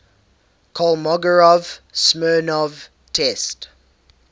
kolmogorov smirnov test